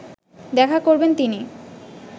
দেখা করবেন তিনি